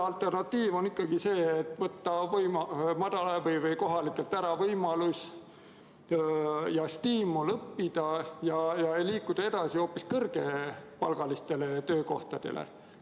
Alternatiiv on ikkagi see, et võtta kohalikelt ära võimalus ja stiimul õppida ning liikuda edasi hoopis kõrgema palgaga töökohtadele.